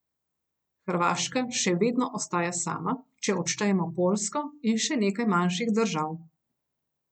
Hrvaška še vedno ostaja sama, če odštejemo Poljsko in še nekaj manjših držav.